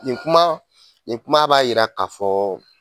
Nin kuma nin kuma b'a jira k'a fɔ